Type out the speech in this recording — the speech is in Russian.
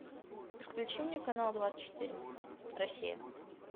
включи мне канал двадцать четыре россия